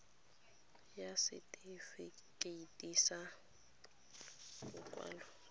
ya setefikeiti sa lokwalo la